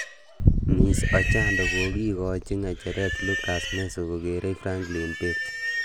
Ms Ochando kokikochi ngecheret Lucas Meso kokerei Franklin Bett.